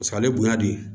Paseke ale bonya de